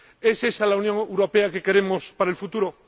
¿Es esa la Unión Europea que queremos para el futuro?